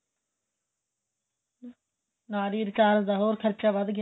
ਨਾਲੇ recharge ਦਾ ਹੋਰ ਵੀ ਖਰਚਾ ਵੱਧ ਗਿਆ